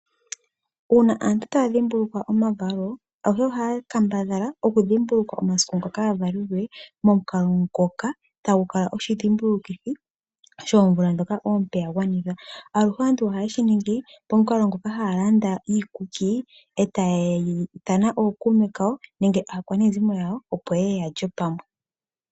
Uuna aantu ta dhimbuluka omavalo gawo ayehe oha kambadhala ya dhimbiluke omasiku ngoka. Ya valelwe mo kalo mukalo ngoka tagukaka oshi dhimbulukithi sho vula moka avalelwe aluhe antu oha ningi talanda iikuki yo tayithana ookawume kayo nenge aakwanezimo opo yeye yalye pamwe.